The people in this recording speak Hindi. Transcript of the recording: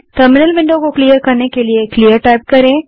टर्मिनल विंडो को क्लियर करने के लिए क्लियर टाइप करें